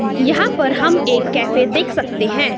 यहां पर हम एक कैफे देख सकते हैं।